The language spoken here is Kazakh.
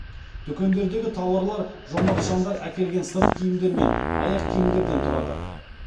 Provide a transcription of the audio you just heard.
дүкендегі тауарлар жомарт жандар әкелген сырт киімдер мен аяқ киімдерден тұрады